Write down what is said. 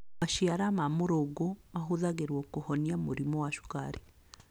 Maciara ma mũrũngũ nĩ mahũthagĩrũo kũhonia mũrimũ wa cukari.